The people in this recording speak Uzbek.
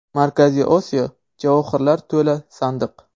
Markaziy Osiyo – javohirlar to‘la sandiq.